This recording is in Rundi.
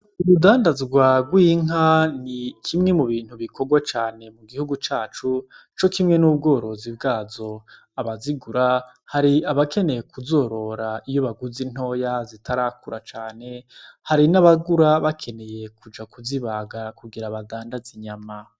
Urudandazwa rw'inka ni kimwe mubintu bikorwa cane mugihugu cacu cokimwe n'ubworozi bwazo abazigura ba har'abakeneye kuzorora iyo baguze ntoya zitarakura cane hari n'abagura bakeneye kuja kuzibaga kugira badandaz'inyama.